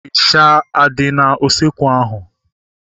Ịsha adị n'usekwu ahu?